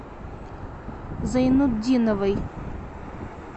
зайнутдиновой